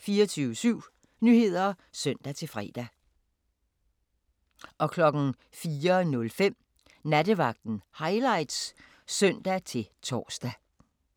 24syv Nyheder (søn-fre) 04:05: Nattevagten Highlights (søn-tor)